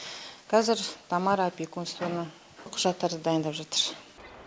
қазір тамара опекунствоның құжаттарын дайындап жатыр